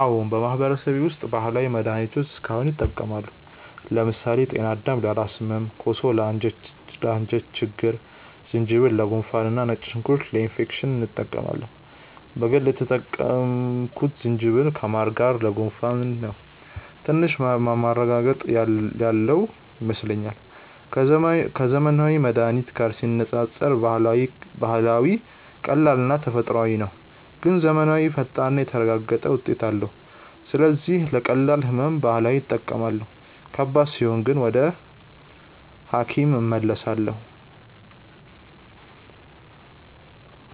አዎን፣ በማህበረሰቤ ውስጥ ባህላዊ መድሃኒቶች እስካሁን ይጠቀማሉ። ለምሳሌ ጤናዳም ለራስ ህመም፣ ኮሶ ለአንጀት ችግኝ፣ ዝንጅብል ለጉንፋን እና ነጭ ሽንኩርት ለኢንፌክሽን እንጠቀማለን። በግል የተጠቀምኩት ዝንጅብልን ከማር ጋር ለጉንፋን ነው፤ ትንሽ ማረጋገጥ ያለው ይመስለኛል። ከዘመናዊ መድሃኒት ጋር ሲነጻጸር ባህላዊው ቀላልና ተፈጥሯዊ ነው፣ ግን ዘመናዊው ፈጣንና የተረጋገጠ ውጤት አለው። ስለዚህ ለቀላል ህመም ባህላዊ እጠቀማለሁ፣ ከባድ ሲሆን ግን ወደ ሐኪም እመለሳለሁ።